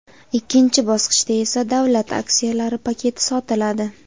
ikkinchi bosqichda esa davlat aksiyalari paketi sotiladi.